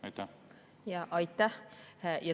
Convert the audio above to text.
Aitäh!